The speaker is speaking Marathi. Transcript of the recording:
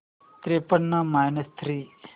त्रेपन्न मायनस थ्री